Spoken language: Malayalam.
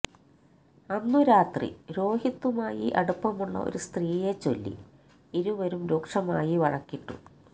അന്നു രാത്രി രോഹിത്തുമായി അടുപ്പമുള്ള ഒരു സ്ത്രീയെച്ചൊല്ലി ഇരുവരും രൂക്ഷമായി വഴക്കിട്ടു